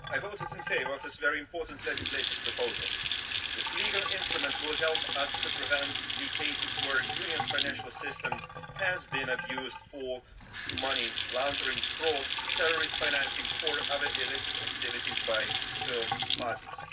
Madam President, I voted in favour of this very important legislative proposal. This legal instrument will help us to prevent the cases where the Union's financial system has been abused for money laundering, fraud, terrorist financing or other illicit activities by third parties.